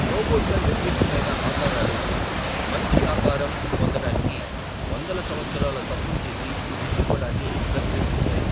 రోబోట్ల నిర్దుష్టమైన ఆకారాలు, మంచి ఆకారం పొందడానికి వందల సంవత్సరాల తప్పులు చేసి దిద్దుకోడాన్ని ప్రతిబింబిస్తాయి.